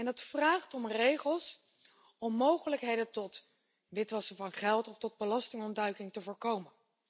Dat vraagt om regels om mogelijkheden tot witwassen van geld of belastingontduiking te voorkomen.